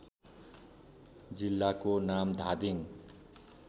जिल्लाको नाम धादिङ